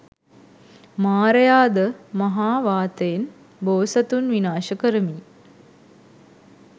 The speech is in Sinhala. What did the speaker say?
මාරයාද මහා වාතයෙන් බෝසතුන් විනාශ කරමියි